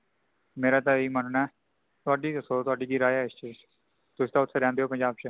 ਮੇਰਾ ਤੇ ਇਹੀ ਮੰਨਨਾ ਹੈ। ਤੁਹਾਡੀ ਦੱਸੋ, ਤੁਹਾਡੀ ਕਿ ਰਾਏ ਹੈ ,ਇਸ ਬਾਰੇ। ਤੁਸੀ ਤਾ ਉਥੇ ਰਹਿੰਦੇ ਹੋ ਪੰਜਾਬ ਚ.